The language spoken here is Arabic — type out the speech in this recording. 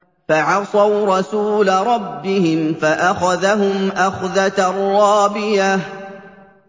فَعَصَوْا رَسُولَ رَبِّهِمْ فَأَخَذَهُمْ أَخْذَةً رَّابِيَةً